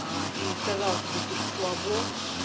а и сказала тебе типа слабо